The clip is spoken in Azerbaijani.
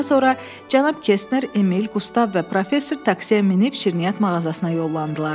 Daha sonra cənab Kestner, Emil, Qustav və professor taksiyə minib şirniyyat mağazasına yollandılar.